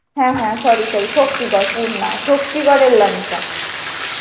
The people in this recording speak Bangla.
হ্যা হ্যা sorry sorry শক্তিগর পুর না শক্তিগরের ল্যাংচা.